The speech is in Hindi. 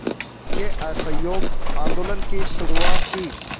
के असहयोग आंदोलन की शुरुआत की